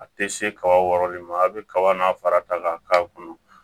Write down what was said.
A tɛ se kaba wɔɔrɔ min ma a bɛ kaba n'a fara ta k'a k'a kɔnɔ